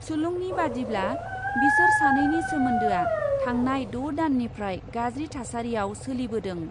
सुलुंनि बादिब्ला, बिसोर सानैनि सोमोन्दोआ थांनाय द' दाननिफ्राय गाज्रि थासारियाव सोलिबोदों।